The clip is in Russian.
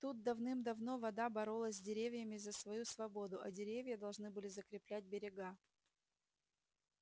тут давным-давно вода боролась с деревьями за свою свободу а деревья должны были закреплять берега